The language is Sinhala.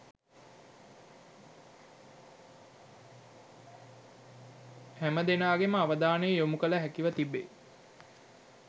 හැමදෙනාගේ අවධානය යොමු කළ හැකිව තිබේ.